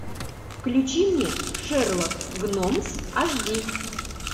включи мне шерлок гномс аш ди